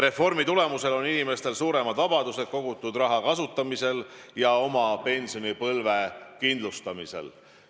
Reformi tulemusel on inimestel suurem vabadus kogutud raha kasutamisel ja oma pensionipõlve kindlustamisel.